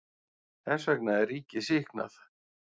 Þess vegna er ríkið sýknað.